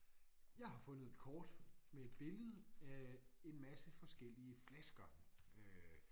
Jeg har fundet et kort med et billede af en masse forskellige flasker øh